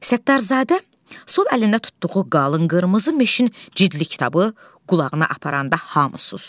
Səttarzadə sol əlində tutduğu qalın qırmızı meşin cildli kitabı qulağına aparanda hamı susdu.